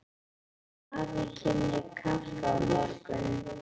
Afi kemur í kaffi á morgun.